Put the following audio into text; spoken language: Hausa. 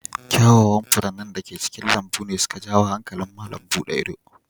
Kyawawan furannin da ke cikin lambun ne su ka jawo hankalin malam buɗe ido.